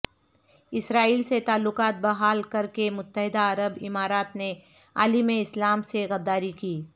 اسرائیل سے تعلقات بحال کرکے متحدہ عرب امارات نے عالم اسلام سے غداری کی